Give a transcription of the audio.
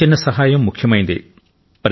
ప్రతి చిన్న సహాయం ముఖ్యమైందే